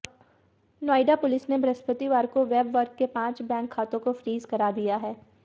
Noida police ने बृहस्पतिवार को वेबवर्क के पांच बैंक खातों को फ्रीज करा दिया है